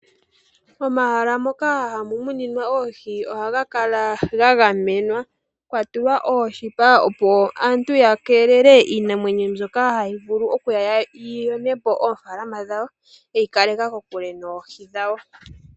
Momahala moka hamu muninwa oohi ohaga kala ga gamenwa, kwatulwa oondhalate dhooshipa opo aantu ya keelele iinamwenyo mbyoka hayi vulu okuya yi yonepo oofalalama dhawo yeyi kaleke kokule noohi dhawo